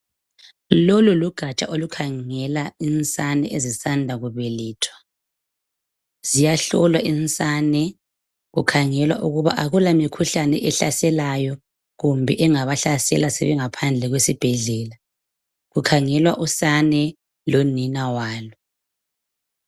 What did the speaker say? Lolu lugaja olukhangela insane ezisanda kubelethwa. Ziyahlolwa insane, kukhangelwa ukuba akula mikhuhlane ehlaselayo kumbe engabahlasela sebengaphandle kwesibhedlela. Kukhangelwa usane lonina walo.